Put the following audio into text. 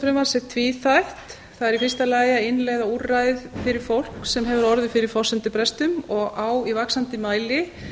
er tvíþætt það er í fyrsta lagi að innleiða úrræði fyrir fólk sem hefur orðið fyrir forsendubresti og á í vaxandi mæli